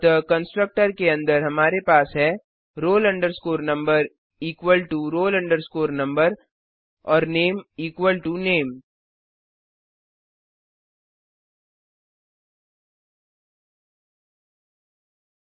अतः कंस्ट्रक्टर के अंदर हमारे पास हैः roll number equal to roll number और नामे इक्वल टो नामे